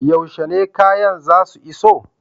Yaushe ne kayan zasu iso?